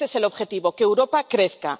Ese es el objetivo que Europa crezca.